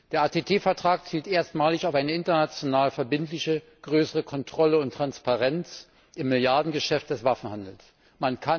Der ATT Vertrag zielt erstmalig auf eine international verbindliche größere Kontrolle und Transparenz im Milliardengeschäft des Waffenhandels ab.